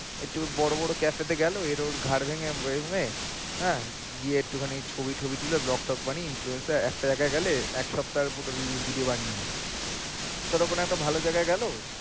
একটু বড় বড় cafe তে গেলো এর ওর ঘাড় ভেঙ্গে ভেয়ে~ হ্যাঁ গিয়ে এক্টুখানি ছবি টবি তুলে blog tog বানিয়ে influencer একটা জায়গায় গেলে এক সপ্তাহের পুরো release video বানিয়ে নেয়।